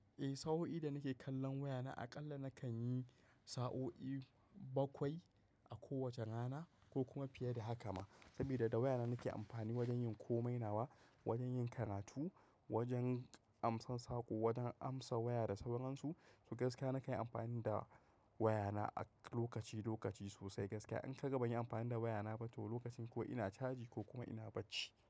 Eh sa'o'i da nake kallon wayana aƙalla nakan yi sa'o'i bakwai a kowace rana ko kuma fiye da haka ma. Saboda da wayana nake amfani wajen yin komai, nawa wajen yin karatu, wajen amsan saƙo, wajen amsa waya da sauran su. To gaskiya nakan yi amfani da wayana a lokaci lokaci sosai gaskiya. An kai gaba ban yi amfani da wayana ba toh lokacin ko ina caji ko kuma ina bacci.